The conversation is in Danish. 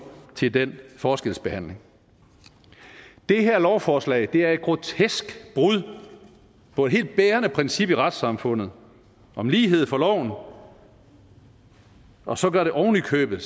til den forskelsbehandling det her lovforslag er et grotesk brud på et helt bærende princip i retssamfundet om lighed for loven og og så gør det ovenikøbet